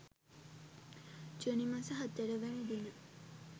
ජුනි මස 04 වැනි දින